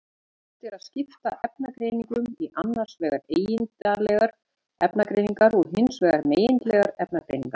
Hægt er að skipta efnagreiningum í annars vegar eigindlegar efnagreiningar og hins vegar megindlegar efnagreiningar.